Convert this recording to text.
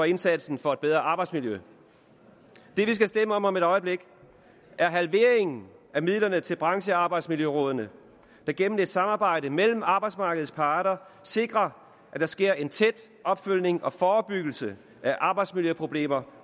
indsatsen for et bedre arbejdsmiljø det vi skal stemme om om et øjeblik er halvering af midlerne til branchearbejdsmiljørådene der gennem et samarbejde mellem arbejdsmarkedets parter sikrer at der sker en tæt opfølgning på og forebyggelse af arbejdsmiljøproblemer